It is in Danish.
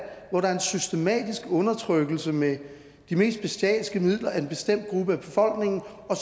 hvor der er en systematisk undertrykkelse med de mest bestialske midler af en bestemt gruppe af befolkningen og